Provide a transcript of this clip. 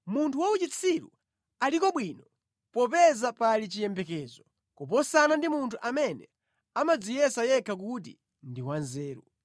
Munthu wa uchitsiru aliko bwino popeza pali chiyembekezo kuposana ndi munthu amene amadziyesa yekha kuti ndi wanzeru.